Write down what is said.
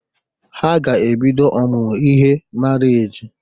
Ha ga-ebido ọmụmụ ihe marriage.